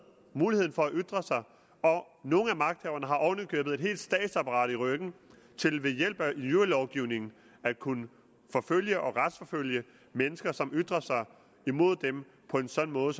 muligheden for at ytre sig og nogle af magthaverne har oven i købet et helt statsapparat i ryggen til ved hjælp af injurielovgivningen at kunne forfølge og retsforfølge mennesker som ytrer sig mod dem på en sådan måde